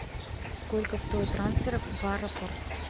сколько стоит трансфер в аэропорт